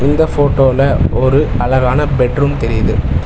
இந்த ஃபோட்டோல ஒரு அழகான பெட் ரூம் தெரியிது.